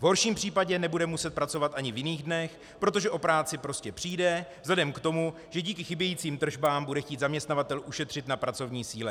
V horším případě nebude muset pracovat ani v jiných dnech, protože o práci prostě přijde vzhledem k tomu, že díky chybějícím tržbám bude chtít zaměstnavatel ušetřit na pracovní síle.